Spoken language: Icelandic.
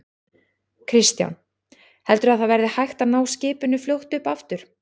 Kristján: Heldurðu að það verði hægt að ná skipinu fljótt upp aftur?